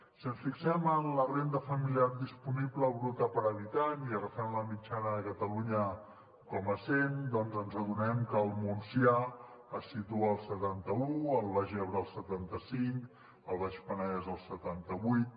si ens fixem en la renda familiar disponible bruta per habitant i agafem la mitjana de catalunya com a cent doncs ens adonem que el montsià es situa al setanta un el baix ebre al setanta cinc el baix penedès al setanta vuit